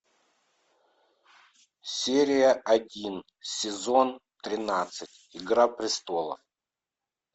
серия один сезон тринадцать игра престолов